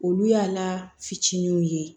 Olu y'a la fitininw ye